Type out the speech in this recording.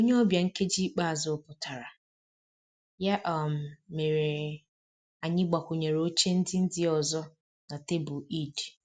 Onye ọbịa nkeji ikpeazụ pụtara, ya um mere anyị gbakwunyere oche ndị ndị ọzọ na tebụl Eid